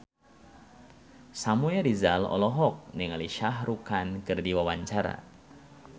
Samuel Rizal olohok ningali Shah Rukh Khan keur diwawancara